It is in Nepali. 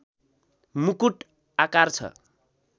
मुकुट आकार छ